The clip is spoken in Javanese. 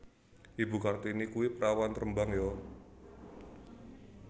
Ibu Kartini kui perawan Rembang yo